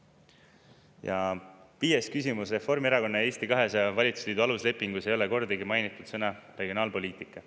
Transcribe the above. Ja viies küsimus: Reformierakonna ja Eesti 200 valitsusliidu aluslepingus ei ole kordagi mainitud sõna "regionaalpoliitika".